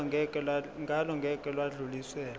ngalo ngeke lwadluliselwa